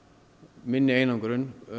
minni einangrun